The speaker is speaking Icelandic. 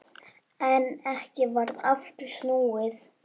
En ekki varð aftur snúið.